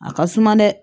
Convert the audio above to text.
A ka suma dɛ